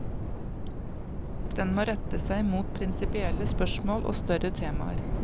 Den må rette seg mot prinsipielle spørsmål og større temaer.